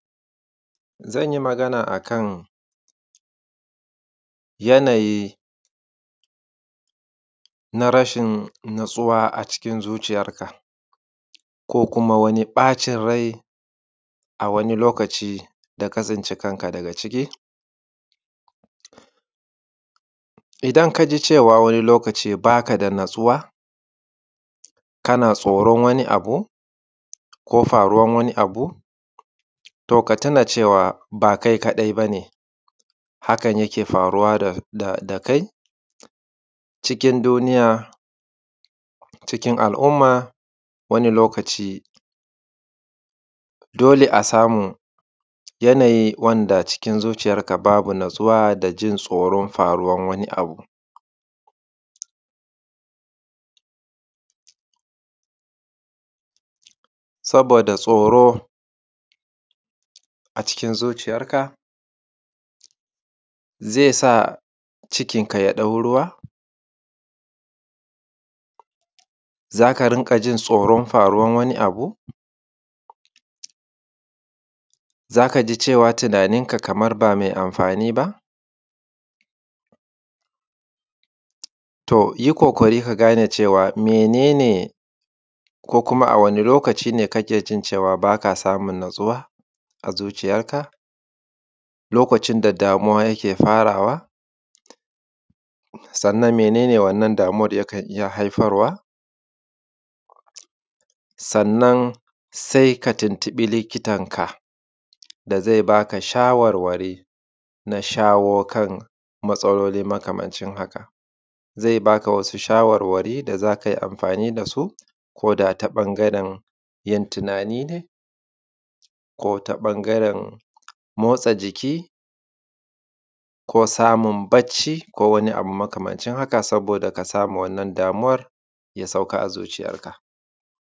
Zanyi Magana akan yanayi na rashin natsuwa a cikin zuciyarka ko kuma wani ɓacin rai a wani lokaci daka tsinci kanka gada ciki. Idan kaji cewa wani lokaci bakada natsuwa kana tsoron wani abu, ko faruwan wani abu to katuna cewa ba kai kaɗai bane hakan yake faruwa da kai cikin duniya, cikin al’umma. Wani lokaci dole a samu wani yanayi wanda zuciyarka babu natsuwa dajin tsoron faruwan wani abu. Saboda tsoro a cikin zuciyar ka zaisa cikin ka yaɗau ruwa, zaka rinƙajin tsoron faruwan wani abu, zaka rinƙajin tunanin ka Kaman ba mai amfani ba, toyi ƙoƙari kagane cewa mene ne ko kuma a wani lokaci ne kakejin cewa Kaman bakada natsuwa a zuciyarka. Lokacin da damuwa yake farawa, sannan mene ne wannan damuwan yake haifarwa, sannan katun tuɓi likitanka dazai baka shawarwari na shawokan matsaloli haka. Zai baka wasu shawarwari da zakai amfani dasu koda ta ɓangaren shawarwari ne, ko ta ɓangaren motsa jiki, ko samun bacci ko wani abu makamancin haka saboda kasamu wannan damuwan yafita a zuciyar ka.